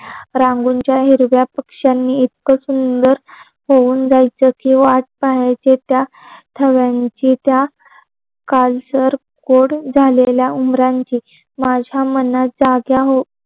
रंगोळीच्या हिरव्या पक्षांनी इतक सुंदर होऊन जायच की वाट पहायच. त्या थव्यांची, त्या काळसर कोड झालेल्या उमरांची